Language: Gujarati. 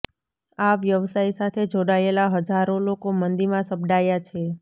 આ વ્યવસાય સાથે જોડાયેલા હજારો લોકો મંદીમાં સપડાયા છે